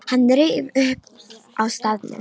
Hann reif það upp á staðnum.